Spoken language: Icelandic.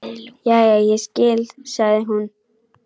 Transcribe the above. Jæja, ég skil, sagði hún.